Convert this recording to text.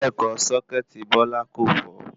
Bẹ́ẹ̀kọ́ sọ́kẹ́tì Bọ́lá kò fọ́